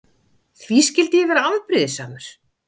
Því skyldi ég vera afbrýðisamur?